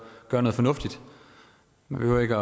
gøre noget fornuftigt man behøver ikke